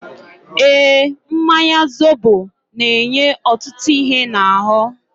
Eeǃ Mmanya zobo na-enye ọtụtụ ihe n'ahụ.